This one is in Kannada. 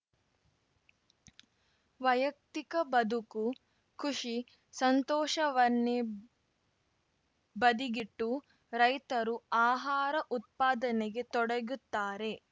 ವೈಯಕ್ತಿಕ ಬದುಕು ಖುಷಿ ಸಂತೋಷವನ್ನೇ ಬದಿಗಿಟ್ಟು ರೈತರು ಆಹಾರ ಉತ್ಪಾದನೆಗೆ ತೊಡಗುತ್ತಾರೆ